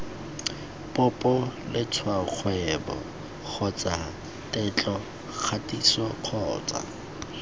popo letshwaokgwebo kgotsa tetlokgatiso kgotsa